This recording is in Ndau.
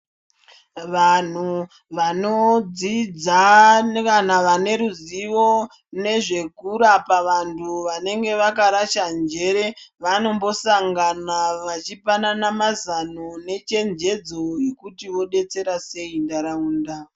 Vanhu vanodzidza nevanhu vane ruziwo nezvekurapa vantu vanenge vakarasha njere vanombosangana vachipanana mazano nechenjedzo dzekuti vodetsera sei ntaraunda .